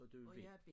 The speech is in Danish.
Og du er B